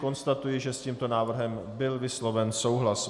Konstatuji, že s tímto návrhem byl vysloven souhlas.